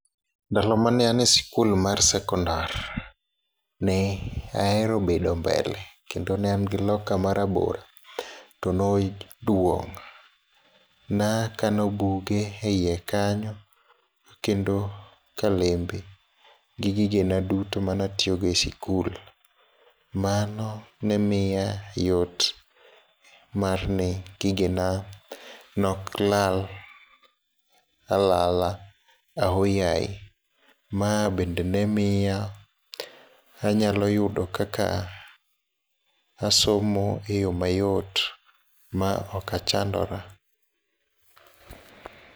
Ndalo mane an e sikul mar secondar, ne ahero bedo mbele kendo ne angi locker marabora to noduong', nakano buge e iye kanyo, kendo kalembe, gi gigena duto mane atiyogo e skul, mano ne miya yot marni gigena ne oklal alala ahoyaye, ma bende ne miya anyalo yudo kaka asomo e yo mayot ma okachandora.